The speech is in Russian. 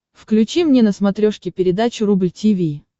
включи мне на смотрешке передачу рубль ти ви